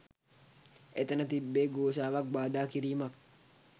එතන තිබ්බේ ඝෝෂාවක් බාධා කිරීමක්